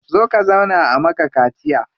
Zo ka zauna a maka kaciya.